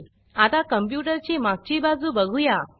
आता कंप्यूटर ची मागची बाजू बघूया